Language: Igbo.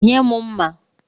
Nye m mma.